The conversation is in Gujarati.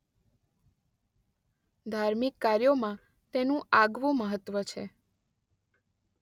ધાર્મિક કાર્યોમાં તેનું આગવું મહત્વ છે.